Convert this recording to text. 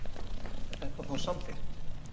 Er þetta þá samþykkt?